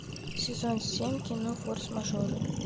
сезон семь кино форс мажоры